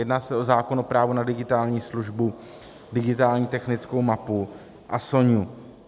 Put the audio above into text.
Jedná se o zákon o právu na digitální službu, digitální technickou mapu a SONIA.